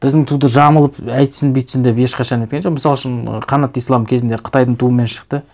біздің туды жамылып өйтсін бүйтсін деп ешқашан неткен жоқ мысал үшін қанат ислам кезінде қытайдың туымен шықты